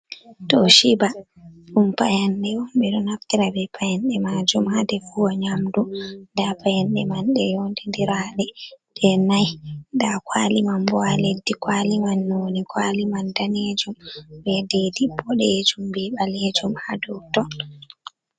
Toshiba ɗumm payanɗe, ɓe ɗo naftira be payanɗe majum ha defugo nyamdu, nda payenɗe man ɗe yondidiraɗe ɗeh nai, nda kwali man bo ha leddi, kwali man noni kwali man danejum be didi boɗejum be ɓalejum ha dou ton.